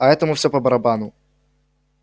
а этому всё по-барабану